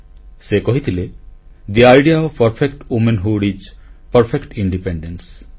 ସେ କହିଥିଲେ the idea of perfect womanhood is perfect independence